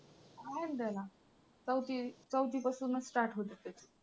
आहे ना त्याला चौथी चौथी पासूनच start होतंय ते.